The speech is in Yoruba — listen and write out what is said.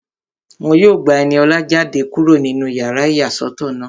Wọ́n yóò gba Ẹniọlá jáde kúrò nínú yàrá ìyàsọ́tọ̀ náà